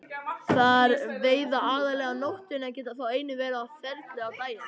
Þeir veiða aðallega á nóttunni en geta þó einnig verið á ferli á daginn.